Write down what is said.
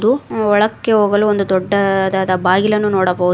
ಹಾಗು ಒಳಕ್ಕೆ ಹೋಗಲು ಒಂದು ದೊಡ್ಡದಾದ ಬಾಗಿಲನ್ನು ನೋಡಬಹುದು.